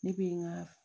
Ne bɛ n ka